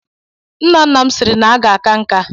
Nna nna m sịrị na m ga-aka nká.